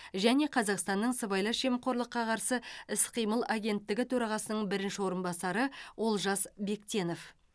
және қазақстан сыбайлас жемқорлыққа қарсы іс қимыл агенттігі төрағасының бірінші орынбасары олжас бектенов